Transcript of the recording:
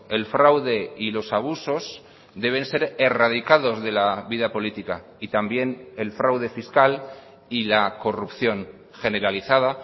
el fraude y los abusos deben ser erradicados de la vida política y también el fraude fiscal y la corrupción generalizada